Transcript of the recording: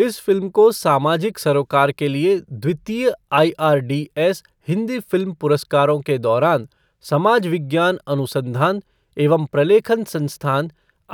इस फ़िल्म को सामाजिक सरोकार के लिए द्वितीय आईआरडीएस हिंदी फ़िल्म पुरस्कारों के दौरान समाज विज्ञान अनुसंधान एवं प्रलेखन संस्थान